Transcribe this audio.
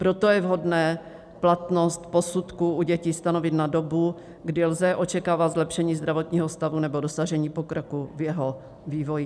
Proto je vhodné platnost posudků u dětí stanovit na dobu, kdy lze očekávat zlepšení zdravotního stavu nebo dosažení pokroku v jeho vývoji.